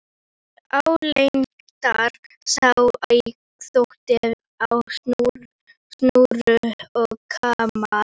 Álengdar sá í þvott á snúru og kamar.